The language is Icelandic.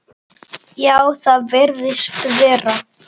Já, það virðist vera.